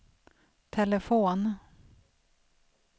telefon